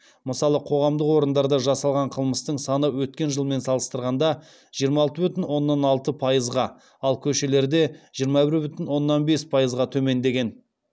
мысалы қоғамдық орындарда жасалған қылмыстың саны өткен жылмен салыстырғанда жиырма алты бүтін оннан алты пайызға ал көшелерде жиырма бір бүтін оннан бір пайызға төмендеген